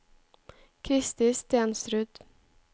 Kristi Stensrud